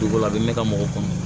Dugu la a bɛ ne ka mɔgɔ kɔnɔ